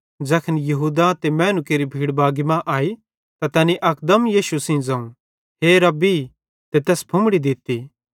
ज़ैखन यहूदा ते मैनू केरि भीड़ बागी मां आई त तैनी अकदम यीशु सेइं ज़ोवं हे रब्बी गुरू ते तैस फुम्मड़ी दित्ती